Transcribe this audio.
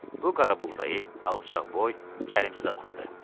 Bu qaraboğdayı, alçaqboy, çəlimsiz adamdı.